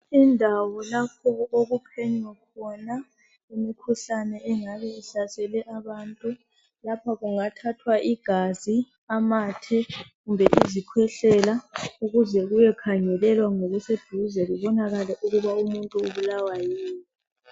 Indawo lapho okuphenywa khona imikhuhlane engabe ihlasele abantu lapha kungathathwa igazi, amathe, kumbe izikhwehlela ukuze kuyo khangelwa ngokuseduze kubonakale ukuthi umuntu engabe ebulawa yini.